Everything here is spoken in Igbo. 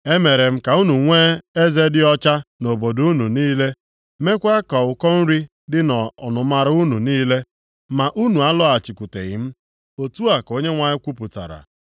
“E mere m ka unu nwee eze dị ọcha + 4:6 Eze ha dị ọcha nʼihi erighị nri ọbụla nʼobodo unu niile, mekwa ka ụkọ nri dị nʼọnụmara unu niile ma unu alọghachikwuteghị m.” Otu a ka Onyenwe anyị kwupụtara.